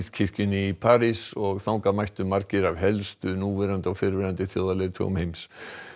kirkjunni í París og þangað mættu margir af helstu núverandi og fyrrverandi þjóðarleiðtogum heims